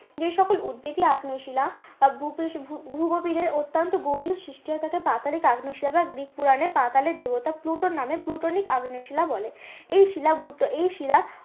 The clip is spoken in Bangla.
যে সকল উদবেধী আগ্নেয় শিলা ভূগভীরে অত্যান্ত গভীরে সৃষ্টিয়তাকে পাতালিক আগ্নেয় শিলা বা গ্রিক পুরানে পাতালের দেবতা প্লুটোর নামে প্লুটোনিক আগ্নেয় শিলা বলে। এই শিলা এই শিলা